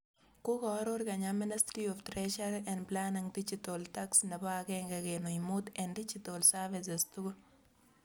Kokooror Kenya Ministry of Treasury and Planning digital tax nebo agenge kenuch muut eng digital services tugul